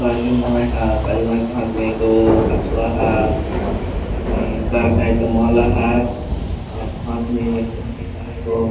काली माई है काली माई के हाथ में एगो हसुआ हाओ दूसरा में बड़का ऐसा माला है और हाथ में कोंचिज है जो--